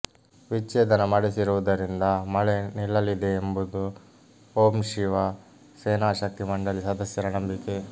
ವಿಚ್ಚೇದನ ಮಾಡಿಸಿರುವುದರಿಂದ ಮಳೆ ನಿಲ್ಲಲಿದೆ ಎಂಬುವುದು ಓಂ ಶಿವ ಸೇನಾ ಶಕ್ತಿ ಮಂಡಳಿ ಸದಸ್ಯರ ನಂಬಿಕೆ